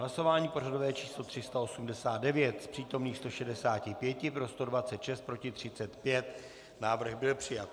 Hlasování pořadové číslo 389, z přítomných 165 pro 126, proti 35, návrh byl přijat.